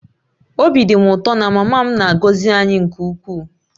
Obi dị m ụtọ na mama m na-agọzi m nke ukwuu